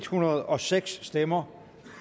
hundrede og seks stemmer